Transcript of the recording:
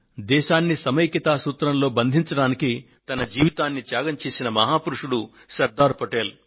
దేశాన్ని సమైక్యతా సూత్రంలో బంధించడానికి తన జీవితాన్ని త్యాగం చేసిన మహాపురుషుడు శ్రీ సర్దార్ పటేల్